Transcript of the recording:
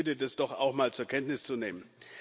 Ich bitte, dies doch auch mal zur Kenntnis zu nehmen.